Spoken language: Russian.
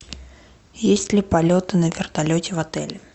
есть ли полеты на вертолете в отеле